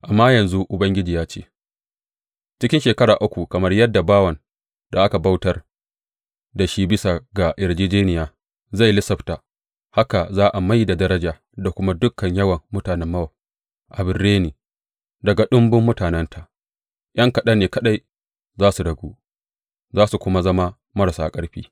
Amma yanzu Ubangiji ya ce, Cikin shekara uku, kamar yadda bawan da aka bautar da shi bisa ga yarjejjeniya zai lissafta, haka za a mai da daraja da kuma dukan yawan mutanen Mowab abin reni, daga ɗumbun mutanenta, ’yan kaɗan ne kaɗai za su ragu, za su kuma zama marasa ƙarfi.